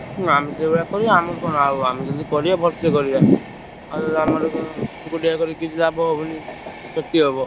ହୁଁ ଆମେ ସେଇଭଳିଆ କରିଆ ଆମର କଣ ଆଉ ଆମେ ଯଦି କରିବା ଭଲସେ କରିବା ଆଉ ଆମର କଣ କିଛି ଲାଭ ହବନି। କ୍ଷତି ହବ।